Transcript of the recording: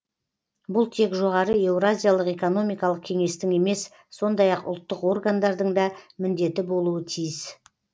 бұл тек жоғары еуразиялық экономикалық кеңестің емес сондай ақ ұлттық органдардың да міндеті болуы тиіс